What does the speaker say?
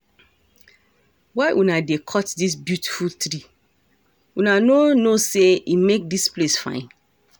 Why una dey cut dis beautiful tree? Una no know say e make dis place fine.